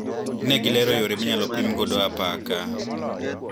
Negilero yore minyalo pim godo apaka.